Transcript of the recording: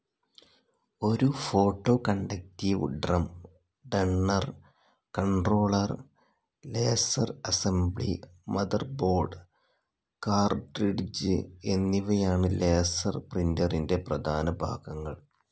ഒരു photoconductive drum, toner, controller, laser assembly, motherboard, cartridge, എന്നിവയാണ് laser പ്രിൻ്ററിൻ്റെ പ്രധാന ഭാഗങ്ങൾ.